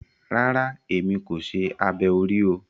Rara, èmi kò ṣe abẹ orí o